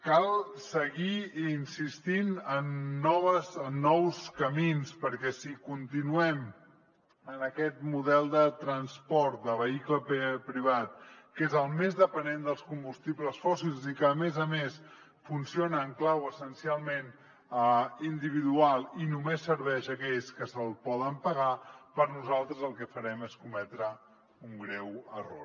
cal seguir insistint en nous camins perquè si continuem en aquest model de transport de vehicle privat que és el més dependent dels combustibles fòssils i que a més a més funciona en clau essencialment individual i només serveix a aquells que se’l poden pagar per nosaltres el que farem és cometre un greu error